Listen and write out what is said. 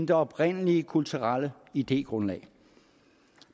det oprindelige kulturelle idégrundlag